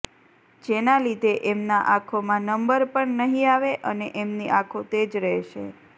જેના લીધે એમના આંખો માં નંબર પણ નહિ આવે અને એમની આંખો તેજ રહેશે